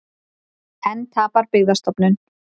Enn tapar Byggðastofnun